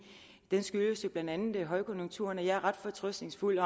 den skyldes jo blandt andet højkonjunkturen og jeg er ret fortrøstningsfuld